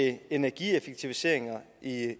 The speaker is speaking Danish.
energieffektiviseringer